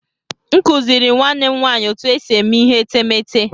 M kụziiri nwanne m nwaanyị otú e si eme ihe etemeete.